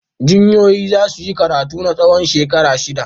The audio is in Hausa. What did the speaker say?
Jinyoyoyi za su yi karatu na tsawon shekaru shida.